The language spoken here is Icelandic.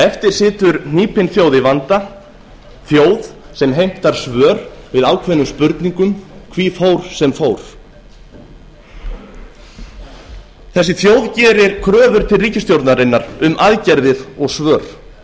eftir situr hnípin þjóð í vanda þjóð sem heimtar svör við ákveðnum spurningum hví fór sem fór þessi þjóð gerir kröfur til ríkisstjórnarinnar um aðgerðir og svör